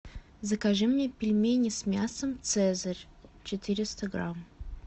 закажи мне пельмени с мясом цезарь четыреста грамм